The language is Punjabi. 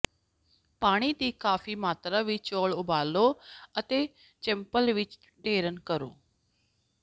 ਪਾਣੀ ਦੀ ਕਾਫੀ ਮਾਤਰਾ ਵਿੱਚ ਚੌਲ ਉਬਾਲੋ ਅਤੇ ਇੱਕ ਚੱਪਲ ਵਿੱਚ ਡਰੇਨ ਕਰੋ